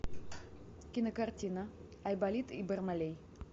кинокартина айболит и бармалей